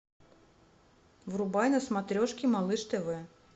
врубай на смотрешке малыш тв